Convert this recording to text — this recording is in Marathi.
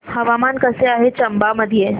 हवामान कसे आहे चंबा मध्ये